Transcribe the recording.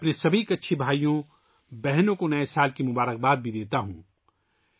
میں اپنے تمام کچھی بھائیوں اور بہنوں کو نئے سال کی مبارک باد بھی دیتا ہوں